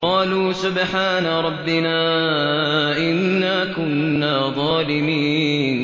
قَالُوا سُبْحَانَ رَبِّنَا إِنَّا كُنَّا ظَالِمِينَ